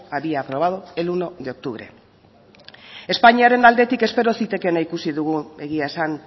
había aprobado el uno de octubre espainiaren aldetik espero zitekeena ikusi dugu egia esan